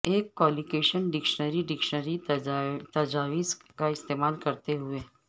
ایک collection dictionary dictionary تجاویز کا استعمال کرتے ہوئے